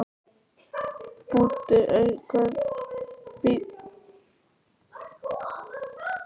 Búddi, einhvern tímann þarf allt að taka enda.